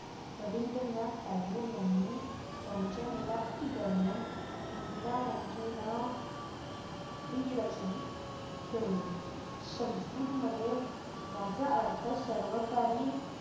रवींद्रनाथ टागोर यांनी त्यांच्या मुलाखती दरम्यान इंदिरा यांचेना प्रियदर्शनी ठेवले संस्कृतमधे याचा अर्थ सर्वकाही